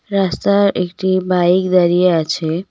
রাস্তার একটি বাইক দাঁড়িয়ে আছে।